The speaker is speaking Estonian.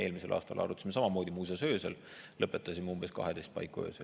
Eelmisel aastal arutasime samamoodi, muuseas öösel, lõpetasime umbes 12 paiku öösel.